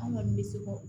An kɔni bɛ se k'o